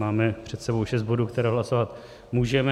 Máme před sebou šest bodů, které hlasovat můžeme.